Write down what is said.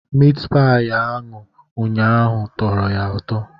Mitpayi anụ ụnyahụ tọrọ ya ụtọ.